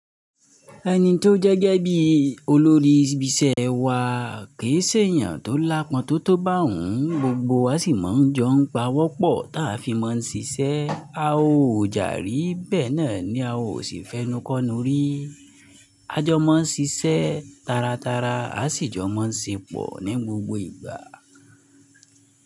Ẹni tó jẹ́ gẹbí olórí ibi iṣẹ́ wa kì í ṣe èèyàn tó lápọ̀n tó tó bá òun, gbogbo wa sì máa ń jọ ń pawọ́pọ̀ táa fi máa ń ṣiṣẹ́. A ò jàrí bẹ́ẹ̀ náà ni a ò sì fẹ́nú kọ́nu rí. A jọ máa ń sisẹ́ taratara, a sì jọ máa ń ṣe pọ̀ ní gbogbo ìgbà.